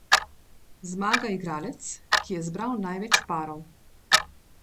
Zmaga igralec, ki je zbral največ parov.